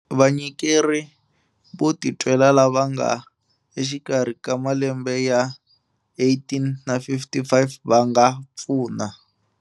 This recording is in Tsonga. Vanyikeri vo titwela lava nga exikarhi ka malembe ya 18 na 55 va nga pfuna.